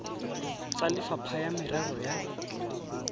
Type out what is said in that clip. tsa lefapha la merero ya